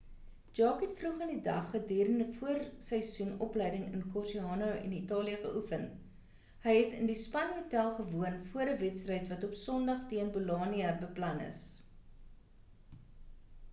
jarque het vroeg in die dag gedurend voorseisoen opleiding in cocerciano in italië geoefen hy het in die span hotel gewoon voor 'n wedstryd wat op sondag teen bolonia beplan is